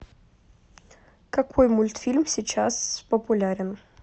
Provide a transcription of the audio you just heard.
какой мультфильм сейчас популярен